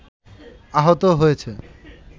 আহত হয়েছে